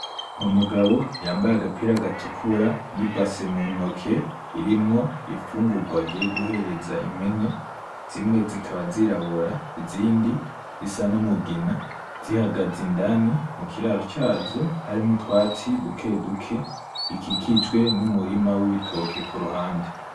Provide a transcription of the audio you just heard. Umugabo yambaye agapira gatukura n'ibase muntoke irimwo imfugurwa agiye guhereza impene, zimwe zikaba zirabura izindi zisa n'umugina zihagaze indani mukiraro cazo harimwo utwatsi dukeduke bikikijwe n'umurima w'ibitoke kuruhande.